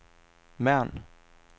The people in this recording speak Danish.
Mern